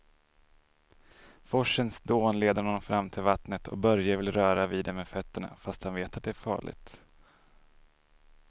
Forsens dån leder honom fram till vattnet och Börje vill röra vid det med fötterna, fast han vet att det är farligt.